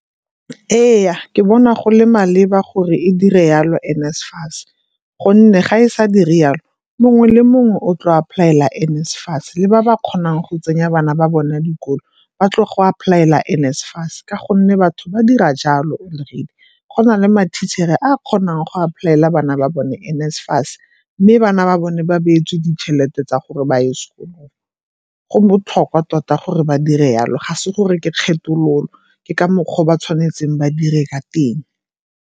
Ee, ke bona go le maleba gore e dire yalo NSFAS, gonne ga e sa dire yalo mongwe le mongwe o tlo apply-ela NSFAS le ba ba kgonang go tsenya bana ba bona dikolo ba tlo go apply-ela NSFAS ka gonne batho ba dira jalo already. Go na le ma-teacher-re a a kgonang go apply-ela bana ba bone NSFAS mme bana ba bone ba beetswe ditšhelete tsa gore ba ye sekolong. Go botlhokwa tota gore ba dire yalo, ga se gore ke kgethololo ke ka mokgwa o ba tshwanetseng ba dire ka teng.